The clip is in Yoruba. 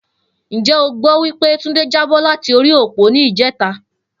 Njé o gbó wí pé Túndé jábó láti orí òpó ní ìjéta?